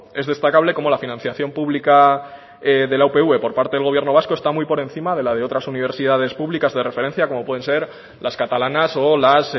es destacable cómo la financiación pública de la upv por parte del gobierno vasco está muy por encima de la de otras universidades públicas de referencia como pueden ser las catalanas o las